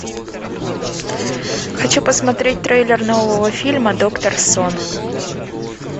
хочу посмотреть трейлер нового фильма доктор сон